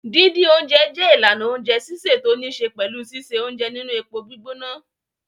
Dídín oúnjẹ jẹ́ ìlànà oúnjẹ sísè tó níṣe pẹ̀lú síse oúnjẹ nínú epo gbígbóná.